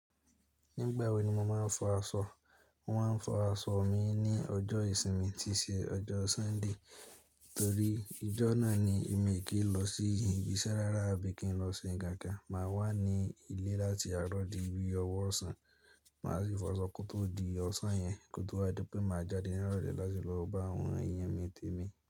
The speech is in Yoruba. Nígbà wo ni mo máa ń fọ aṣọ? Mo máa ń fọ aṣọ mi ní ọjọ́ ìsinmi tí ṣe ọjọ́ Súndè. Torí ìjọ náà ni èmi kì í lọ sí ibi iṣẹ́ rárá àbí kin lọ sí ọjà gan Máa wà ní ilé láti àárọ̀ di bii ọwọ́ ọ̀sán. Máa sì fọ aṣọ kó tó di ọ̀sán yẹn kó tó wá dípé máa jáde ní ìrọ̀lẹ́ láti lọ bá àwọn ẹyẹ mi tẹ́mi.